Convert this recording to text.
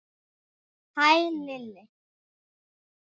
Hæ, Lilli!